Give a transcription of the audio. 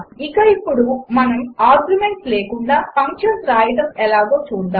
ఇక ఇప్పుడు మనము ఆర్గ్యుమెంట్స్ లేకుండా ఫంక్షన్స్ వ్రాయడం ఎలాగో చూద్దాము